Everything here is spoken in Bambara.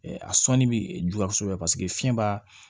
A sɔnni bɛ juguya kosɛbɛ paseke fiɲɛ b'a